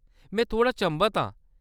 में थोह्‌ड़ा चंभत आं।